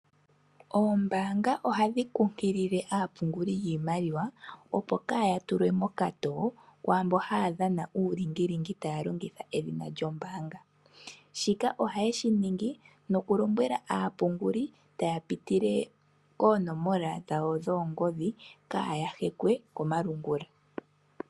Ombaanga ohadhi kunkilile aapunguli yiimaliwa opo kaya tulwe mokatowo kwaamboka haya dhana uulingilingi taya longitha edhina lyombaanga. Shika ohaye shi ningi nokulombwela aapunguli ya pitile koonomola dhawo dhoongodhi kaaya hekwe komalungula.